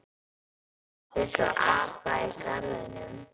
Pabbi sá apa í garðinum.